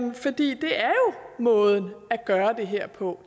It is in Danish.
måden at gøre det her på